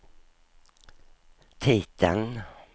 titeln